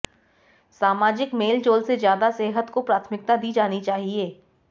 सामाजिक मेलजोल से ज़्यादा सेहत को प्राथमिकता दी जानी चाहिए